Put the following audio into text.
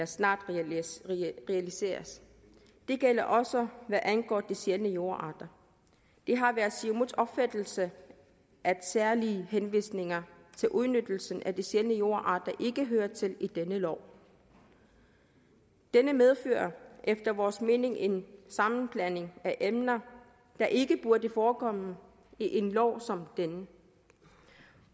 snart kan realiseres det gælder også hvad angår de sjældne jordarter det har været siumuts opfattelse at særlige henvisninger til udnyttelsen af de sjældne jordarter ikke hører til i denne lov det medfører efter vores mening en sammenblanding af emner der ikke burde forekomme i en lov som denne